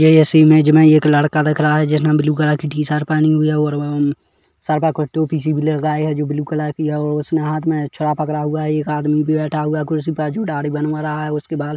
यह इस इमेज़ मे एक लड़का दिख रहा है जिसने ब्लू कलर की टी शर्ट पहनी हुई है और वह सर पर कोई टोपी सी भी लगाया है जो ब्लू कलर की है उसने हाथ मे छुरा पकड़ा हुआ है एक आदमी भी बैठा हुआ है कुर्सी पर जो दाढ़ी बनवा रहा है उसके बाल--